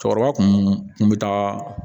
Cɛkɔrɔba kun be taa